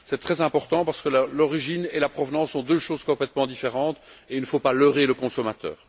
C'est très important parce que l'origine et la provenance sont deux choses complètement différentes, et il ne faut pas leurrer le consommateur.